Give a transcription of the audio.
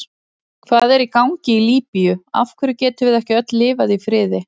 Hvað er í gangi í Líbíu, af hverju getum við ekki öll lifað í friði?